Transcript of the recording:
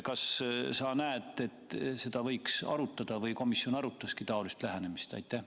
Kas sa näed, et seda võiks arutada, või komisjon arutaski taolist lähenemist?